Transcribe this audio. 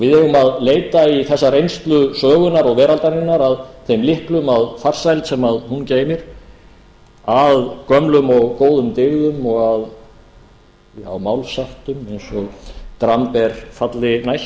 við eigum að leita í þessa reynslu sögunnar og veraldarinnar að þeim lyklum að farsæld sem hún geymir að gömlum og góðum dyggðum og að málsháttum eins og dramb er falli næst